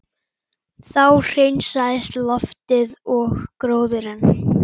Þá hreinsaðist loftið og gróðurinn